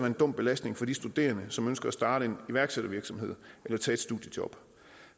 en dum belastning for de studerende som ønsker at starte en iværksættervirksomhed eller tage et studiejob